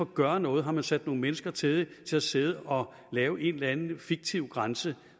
gøre noget har man sat nogle mennesker til at sidde og lave en eller anden fiktiv grænse